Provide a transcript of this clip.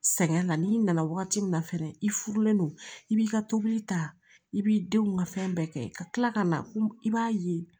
Sɛgɛn la n'i nana wagati min na fɛnɛ i furulen don i b'i ka tobili ta i b'i denw ka fɛn bɛɛ kɛ ka tila ka na i b'a ye